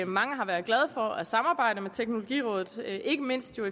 mange har været glade for at samarbejde med teknologirådet ikke mindst jo